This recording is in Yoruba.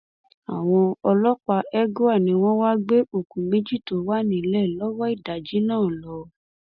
àwọn ọlọpàá egua ni wọn wáá gbé òkú méjì tó wà nílẹ lọwọ ìdájí náà lọ